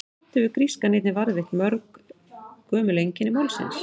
Samt hefur grískan einnig varðveitt mörg gömul einkenni málsins.